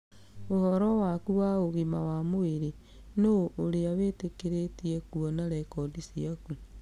Ũhoro waku wa ũgima wa mwĩrĩ:nũũ ũrĩa mwĩtĩkĩrie kũona rekondi ciaku?